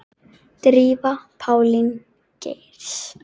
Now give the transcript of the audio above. Drífa Pálín Geirs.